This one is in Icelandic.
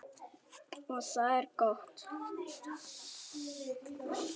Og það er gott.